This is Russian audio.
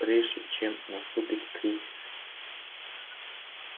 прежде чем наступит кризис